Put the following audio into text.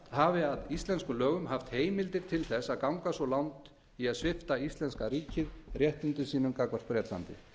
hafi að íslenskum lögum haft heimildir til að ganga svo langt í svipta íslenska ríkið réttindum sínum gagnvart bretlandi